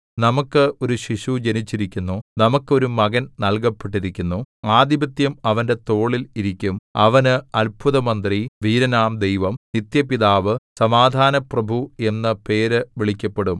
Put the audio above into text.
നമുക്ക് ഒരു ശിശു ജനിച്ചിരിക്കുന്നു നമുക്ക് ഒരു മകൻ നല്കപ്പെട്ടിരിക്കുന്നു ആധിപത്യം അവന്റെ തോളിൽ ഇരിക്കും അവന് അത്ഭുതമന്ത്രി വീരനാം ദൈവം നിത്യപിതാവ് സമാധാനപ്രഭു എന്നു പേര് വിളിക്കപ്പെടും